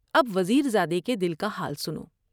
اب وزیر زادے کے دل کا حال سنو ۔